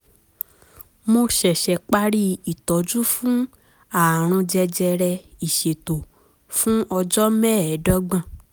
mo ṣẹ̀ṣẹ̀ parí ìtọ́jú fún ààrùn jẹjẹrẹ ìsétọ̀ fún ọjọ́ mẹ́ẹ̀ẹ́dọ́gbọ̀n